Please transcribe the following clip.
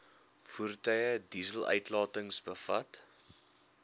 voertuie dieseluitlatings bevat